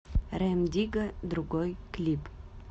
рем дигга другой клип